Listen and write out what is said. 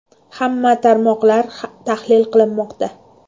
Hamma tarmoqlar tahlil qilinmoqda.